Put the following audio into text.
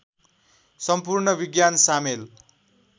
सम्पूर्ण विज्ञान सामेल